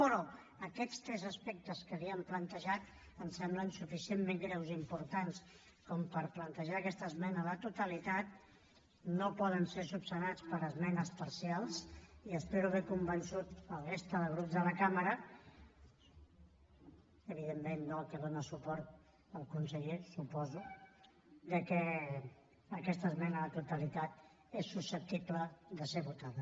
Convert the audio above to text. però aquests tres aspectes que li hem plantejat ens semblen suficientment greus i importants per plantejar aquesta esmena a la totalitat no poden ser resolts per esmenes parcials i espero haver convençut la resta de grups de la cambra evidentment no el que dóna suport al conseller suposo que aquesta esmena a la totalitat és susceptible de ser votada